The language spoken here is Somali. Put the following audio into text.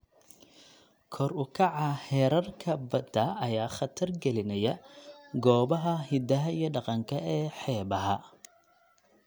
Kor u kaca heerarka badda ayaa khatar gelinaya goobaha hidaha iyo dhaqanka ee xeebaha.